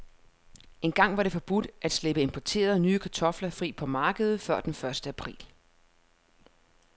Engang var det forbudt at slippe importerede, nye kartofler fri på markedet før den første april.